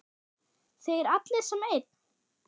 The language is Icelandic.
Þeir allir sem einn?